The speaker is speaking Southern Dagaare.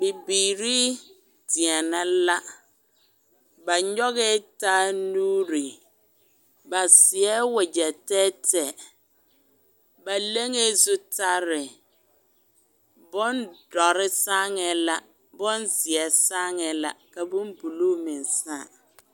Bibiiri deɛnɛ la ba nyɔgɛɛ taa nuuri ba seɛ wagyɛ tɛɛtɛɛ ba leŋee zutare bondɔre saaŋɛɛ la bonzeɛ saaŋɛɛ la ka bonbulu meŋ sãã.